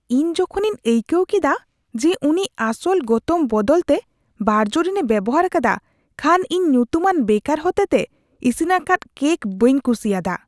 ᱤᱧ ᱡᱚᱠᱷᱚᱱᱤᱧ ᱟᱹᱭᱠᱟᱹᱣ ᱠᱮᱫᱟ ᱡᱮ ᱩᱱᱤ ᱟᱥᱚᱞ ᱜᱚᱛᱚᱢ ᱵᱚᱫᱚᱞ ᱛᱮ ᱵᱟᱨᱡᱽᱨᱤᱱᱮ ᱵᱮᱣᱦᱟᱨ ᱟᱠᱟᱫᱟ ᱠᱷᱟᱱ ᱤᱧ ᱧᱩᱛᱩᱢᱟᱱ ᱵᱮᱠᱟᱨ ᱦᱚᱛᱮᱛᱮ ᱤᱥᱤᱱ ᱟᱠᱟᱫ ᱠᱮᱠ ᱵᱟᱹᱧ ᱠᱩᱥᱤᱭᱟᱫᱟ ᱾